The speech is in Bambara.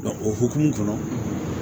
o hokumu kɔnɔ